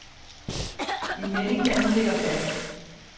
En melding, der nu ligger fast.